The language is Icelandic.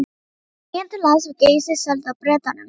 Eigendur lands við Geysi seldu það Bretanum